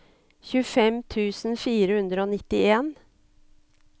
tjuefem tusen fire hundre og nittien